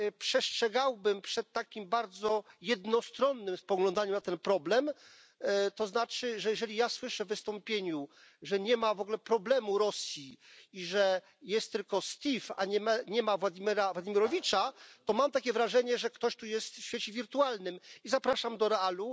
Przestrzegałbym przed takim bardzo jednostronnym spoglądaniem na ten problem, to znaczy, że jeżeli ja słyszę w wystąpieniu, że nie ma w ogóle problemu Rosji i że jest tylko Steve, a nie ma Władimira Władimirowicza, to mam takie wrażenie, że ktoś tu jest w świecie wirtualnym, i zapraszam do realu.